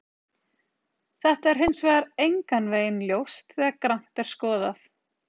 Þetta er hins vegar engan veginn ljóst þegar grannt er skoðað.